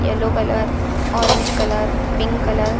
yellow colour orange colour pink colour --